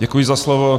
Děkuji za slovo.